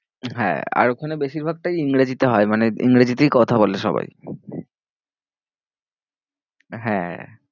হ্যাঁ আর ওখানে বেশির ভাগটাই ইংরেজিতে হয় মানে ইংরেজিতেই কথা বলে সবাই হ্যাঁ